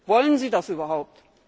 Wollen Sie das überhaupt?